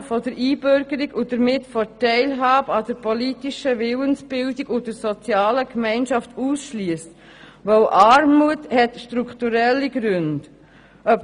Genau das tut man aber, wenn man Armutsbetroffene von der Einbürgerung und damit von der Teilhabe an der politischen Willensbildung und der sozialen Gemeinschaft ausschliesst, weil Armut strukturelle Gründe hat.